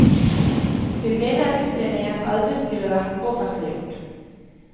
Hun mener utredningen aldri skulle vært offentliggjort.